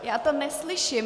Já to neslyším.